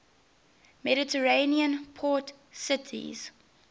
mediterranean port cities